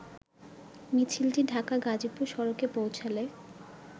মিছিলটি ঢাকা-গাজীপুর সড়কে পেীঁছলে